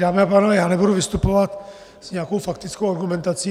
Dámy a pánové, já nebudu vystupovat s nějakou faktickou argumentací.